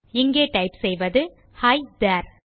இங்கே டைப் செய்வது ஹி தேரே